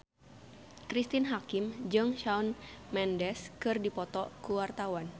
Cristine Hakim jeung Shawn Mendes keur dipoto ku wartawan